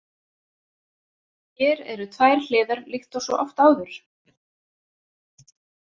Hér eru tvær hliðar líkt og svo oft áður.